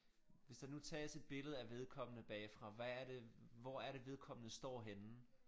Hvis der nu tages et billede af vedkommende bagfra hvad er det hvor er det vedkommende står henne